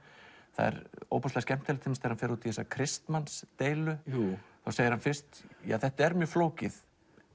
það er ofboðslega skemmtilegt þegar hann fer út í þessa Kristmannsdeilu þá segir hann fyrst ja þetta er mjög flókið